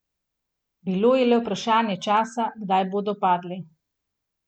Bilo je le vprašanje časa, kdaj bodo padli.